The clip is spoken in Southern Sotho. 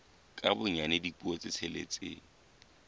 ka bonyane dipuo tse tsheletseng